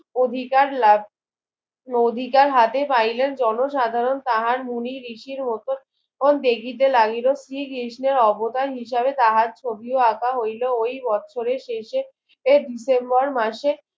অধিকার লাভ অধিকার হাতে পাইলেন জন সাধারণ তাহার মুনি ঋষি মতন দেখিতে লাগিল শ্রী কৃষ্ণের অবদান হিসাবে তাহার ছবিও আঁকা হইলো ওই বৎসরের শেষে এ ফেব্রয়ারি মাসে